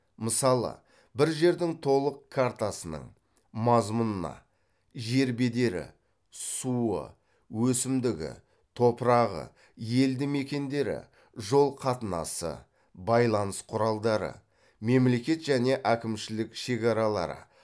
мысалы бір жердің толық картасының мазмұнына жер бедері суы өсімдігі топырағы елді мекендері жол қатынасы байланыс құралдары мемлекет және әкімшілік шекаралары